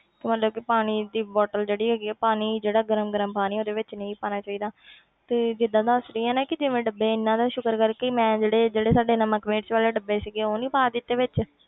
ਤਾਂ ਮਤਲਬ ਕਿ ਪਾਣੀ ਦੀ ਬੋਟਲ ਜਿਹੜੀ ਹੈਗੀ ਆ ਪਾਣੀ ਜਿਹੜਾ ਗਰਮ ਗਰਮ ਪਾਣੀ ਉਹਦੇ ਵਿੱਚ ਨਹੀਂ ਪਾਉਣਾ ਚਾਹੀਦਾ ਤੂੰ ਜਿੱਦਾਂ ਦੱਸ ਰਹੀ ਹੈ ਨਾ ਕਿ ਜਿਵੇਂ ਡੱਬੇ ਇੰਨਾ ਨਾ ਸ਼ੁਕਰ ਕਰ ਮੈਂ ਜਿਹੜੇ ਜਿਹੜੇ ਸਾਡੇ ਨਮਕ ਮਿਰਚ ਵਾਲੇ ਡੱਬੇ ਸੀਗੇ ਉਹ ਨੀ ਪਾ ਦਿੱਤੇ ਵਿੱਚ।